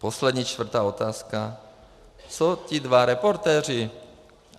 Poslední, čtvrtá otázka: co ti dva reportéři?